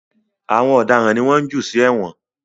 Àwọn ọ̀daràn ni wọ́n ń jù sí èwọ̀n